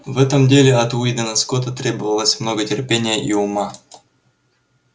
в этом деле от уидона скотта требовалось много терпения и ума